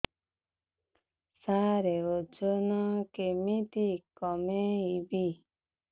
ସାର ଓଜନ କେମିତି କମେଇବି